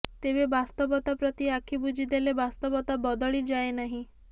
ତେବେ ବାସ୍ତବତା ପ୍ରତି ଆଖି ବୁଜି ଦେଲେ ବାସ୍ତବତା ବଦଳି ଯାଏ ନାହିଁ